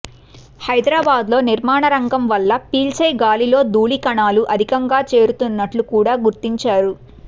హైదరాబాద్లో నిర్మాణరంగంవల్ల పీల్చేగాలిలో ధూళికణా లు అధికంగా చేరుతున్నట్లు కూడా గుర్తించారు